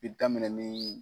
Bi daminɛn ni